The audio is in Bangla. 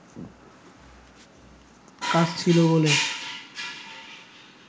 কাজ ছিল বলে